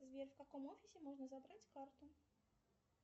сбер в каком офисе можно забрать карту